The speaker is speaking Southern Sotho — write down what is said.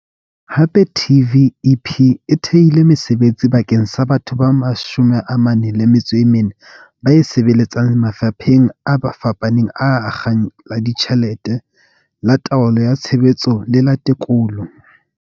Hape TVEP e thehile mesebetsi bakeng sa batho ba 44 ba e sebeletsang mafapheng a fapaneng a akgang la ditjhelete, la taolo ya tsa tshebetso le la tekolo.